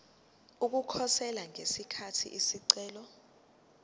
ukukhosela ngesikhathi isicelo